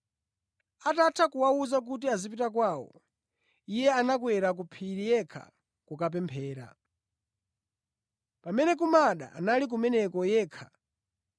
Atatha kuwawuza kuti azipita kwawo, Iye anakwera ku phiri yekha kukapemphera. Pamene kumada anali kumeneko yekha.